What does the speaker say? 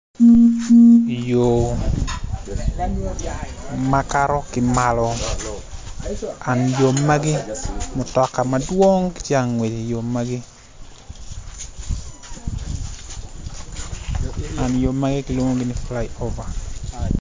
Yo makato ki malo an yo magi mutoka madwong tye angwec i yo magi and yo magi kilwongi ni fly over.